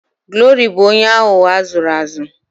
Glory bu onye aghugho azuru azu